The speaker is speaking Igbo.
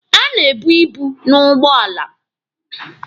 A na-ebu ibu n'ugbọala.